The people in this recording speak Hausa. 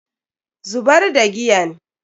Zubar da giyan.